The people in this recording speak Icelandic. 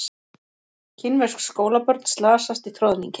Kínversk skólabörn slasast í troðningi